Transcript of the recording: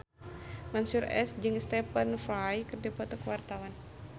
Mansyur S jeung Stephen Fry keur dipoto ku wartawan